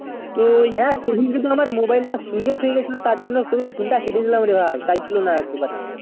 তো হেঁ সেই দিন কে আমার mobile তা switch off হয়ে গিলো ছিল তার জন্যে তাই জন্য তোর phone তা কেটে দিলাম রে ভাই তাই ছিল না এক দু বাড়ি